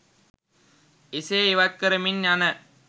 එසේ ඉවත් කරමින් යන